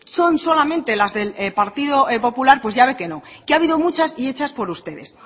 son solamente las del partido popular pues ya ve que no que ha habido muchas y hechas por ustedes